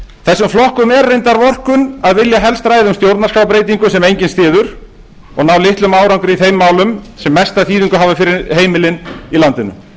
þessum flokkum er reyndar vorkunn að vilja helst ræða um stjórnarskrárbreytingu sem enginn styður en ná litlum árangri í þeim málum sem mesta þýðingu hafa fyrir heimilin í landinu